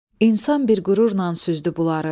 İnsan bir qürurla süzdü bunları.